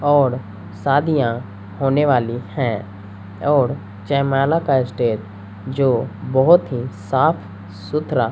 औड़ शादियां होने वाली है औड़ जयमाला का स्टेज जो बहोत ही साफ सुथरा--